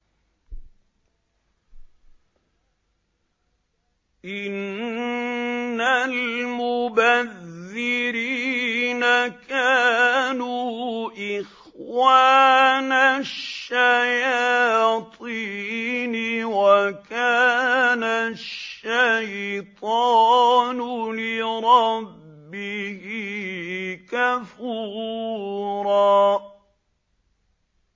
إِنَّ الْمُبَذِّرِينَ كَانُوا إِخْوَانَ الشَّيَاطِينِ ۖ وَكَانَ الشَّيْطَانُ لِرَبِّهِ كَفُورًا